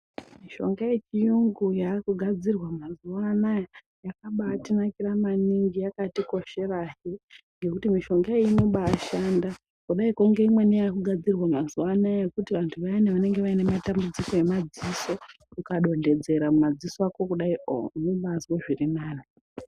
Mishonga yechiyungu yaakugadzirwa mazuano aya yakaba yakatinakira maningi yaktikoshera he, ngekuti mishonga yo inoba yashanda kudaiko ngeimweni yakugadzirwa mazuano aya ekuti vantu vaya vanenge vane matambudziko emadziso ukadonhodzera mumadziso ako kudaio unobazwe zvirinani.